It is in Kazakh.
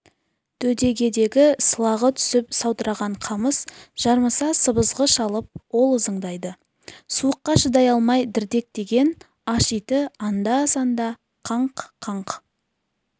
дөдегедегі сылағы түсіп саудыраған қамыс жарыса сыбызғы шалып ол ызыңдайды суыққа шыдай алмай дірдектеген аш иті анда-санда қаңқ-қаңқ